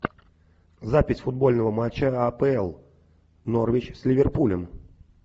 запись футбольного матча апл норвич с ливерпулем